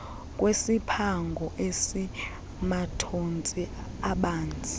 kwesiphango esimathontsi abanzi